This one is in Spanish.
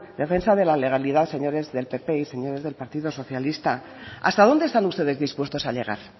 defensa de la legalidad señores del pp y señores del partido socialista hasta dónde están ustedes dispuestos a llegar